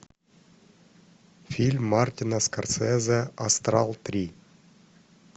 фильм мартина скорсезе астрал три